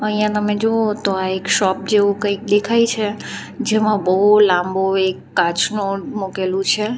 અહીંયા તમે જુઓ તો આ એક શોપ જેવું કંઈક દેખાય છે જેમાં બહુ લાંબો એક કાચનો મૂકેલું છે.